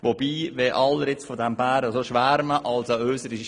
Wobei, da ja nun alle so von diesem Bären schwärmen, muss ich doch sagen: